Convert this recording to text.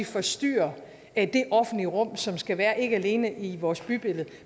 forstyrrer det offentlige rum som skal være der ikke alene i vores bybillede